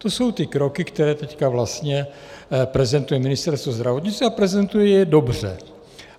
To jsou ty kroky, které teď vlastně prezentuje Ministerstvo zdravotnictví, a prezentuje je dobře.